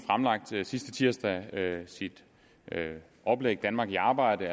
sidste tirsdag sit oplæg danmark i arbejde